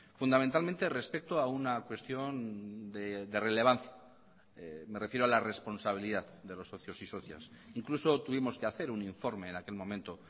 fundamentalmente respecto a una cuestión de relevancia me refiero a la responsabilidad de los socios y socias incluso tuvimos que hacer un informe en aquel momento